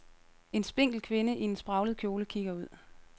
En spinkel kvinde i en spraglet kjole kigger ud.